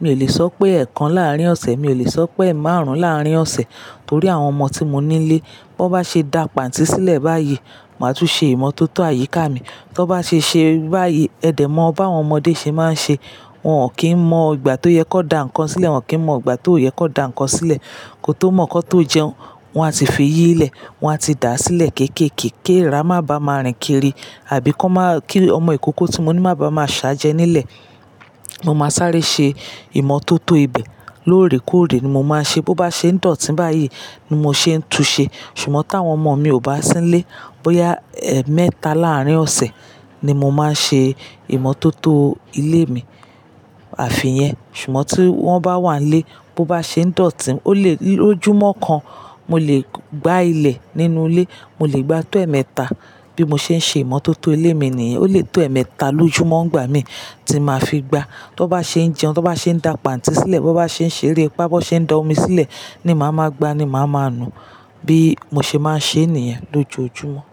Mi ò lè sọ pé ẹ̀ẹ̀kan láàrín ọ̀sẹ̀, mi ò lè sọ pé ẹ̀ẹ̀márùn-ún láàrín ọ̀sẹ̀ torí àwọn ọmọ tí mo nílé, bó bá ṣe dà pàntí sílẹ̀ báyìí, màá tún ṣe ìmọ́tótó àyíká mi. Tó bá ṣe ṣé báyìí, ẹ̀dẹ̀ mọ bá àwọn ọmọdé ṣe máa ń ṣe. Wọn ò kí ń mọ ìgbà tó yẹ kó da nǹkan sílẹ̀, wọn kì í mọ ìgbà tió yẹ kó da nǹkan sílẹ̀. Kò tó mọ̀ kọ́n tó jẹun, wọ́n á ti fi yí lẹ̀, wọ́n á ti dà á sílẹ̀ kéékèèké kí era má bà máa rìn kiri àbí kó má kí ọmọ ìkókó tí mo ní máa ba máa ṣáájú ẹ nílẹ̀. Mo máa sáré ṣe ìmọ́tótó ibẹ̀ lóòrèkóòrè ni mo máa ṣe. Bo bá ṣe ń dọ̀tí báyìí ni mo ṣe ń tu ṣe. Ṣùgbọ́n tí àwọn ọmọ mi ò bá sí nílé, bóyá ẹ̀ẹ́ẹ̀mẹ́ta láàrín ọ̀sẹ̀ ni mo máa ṣe ìmọ́tótó ilé mi. Àfiyẹ̀ Ṣùgbọ́n tí wọ́n bá wà nílé, bó bá ṣe ń dọ̀tí, ó lè lójúmọ́ kan, mo lè gbá ilẹ̀ nínú ilé, mo lè gbá ètò ẹ̀ẹ́ẹ̀mẹ́ta bí mo ṣe ń ṣe ìmọ́tótó ilé mi nìyẹn. O lè tó ẹ̀ẹ́ẹ̀mẹ́ta lójúmọ́ ń gbá mi tí màá fi gbá. Tó bá ṣe ń jẹun, tó bá ṣe ń dà pàntí sílẹ̀, bó bá ṣe ń ṣeré bá bó ṣe ń da omi sílẹ̀ ni màá máa gbá ni màá máa nu bí mo ṣe máa ń ṣe nìyẹn lójoojúmọ́.